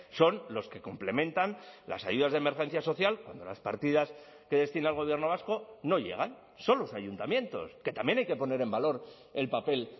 son los que complementan las ayudas de emergencia social cuando las partidas que destina el gobierno vasco no llegan son los ayuntamientos que también hay que poner en valor el papel